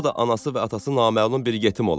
O da anası və atası naməlum bir yetim ola.